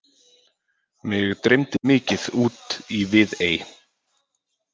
Mig dreymdi mikið út í Viðey.